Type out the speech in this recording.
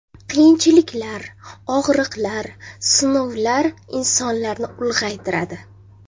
Qiyinchiliklar, og‘riqlar, sinovlar insonlarni ulg‘aytiradi.